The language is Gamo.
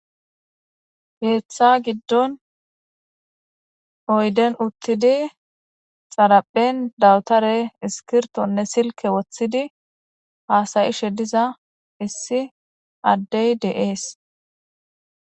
Keeththa giddon oyden uttidi xaraphen dawutare iskirtonne silke woththidi haasayishe diza issi addey de7ees.